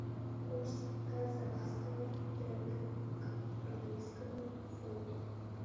курс казахского тенге к английскому фунту